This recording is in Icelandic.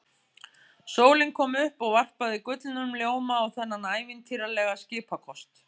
Sólin kom upp og varpaði gullnum ljóma á þennan ævintýralega skipakost.